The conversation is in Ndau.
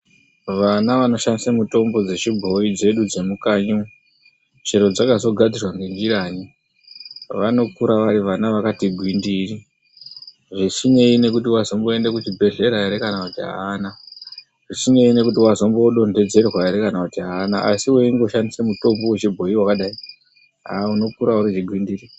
Vana vanoshandisa mitombo dzechiboyi dzedu dzemukanyi umu chero dzakazogadzirwa ngenjirayi, vanokura vari vana vakati gwindiri. Zvisinei nekuti azomboenda kuchibhedhlera here kana kuti haana. Zvisinei nekuti azombodonhedzerwa here kana kuti haana. Asi weingoshandisa mitombo yechiboyi wakadai haa unokura uri chigwindiri.